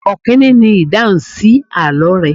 Ọkini ni ìdáhùn sí àlọ́ rẹ.